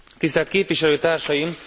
Tisztelt Képviselőtársaim!